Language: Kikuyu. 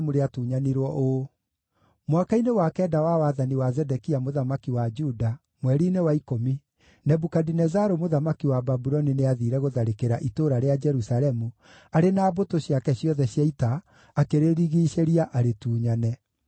Mwaka-inĩ wa kenda wa wathani wa Zedekia mũthamaki wa Juda, mweri-inĩ wa ikũmi, Nebukadinezaru mũthamaki wa Babuloni nĩathiire gũtharĩkĩra itũũra rĩa Jerusalemu arĩ na mbũtũ ciake ciothe cia ita, akĩrĩrigiicĩria arĩtunyane.